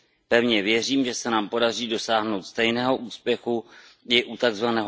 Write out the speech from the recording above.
Pevně věřím, že se nám podaří dosáhnout stejného úspěchu i u tzv.